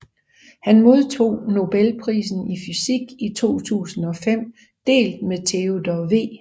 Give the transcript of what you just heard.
Han modtog nobelprisen i fysik i 2005 delt med Theodor W